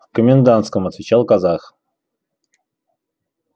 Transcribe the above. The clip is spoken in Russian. в комендантском отвечал казах